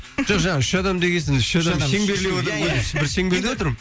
жоқ жаңа үш адам деген соң бір шеңберде отырмын